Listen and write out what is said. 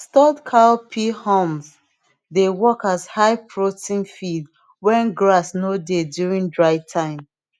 stored cowpea haulms dey work as high protein feed when grass no dey during dry time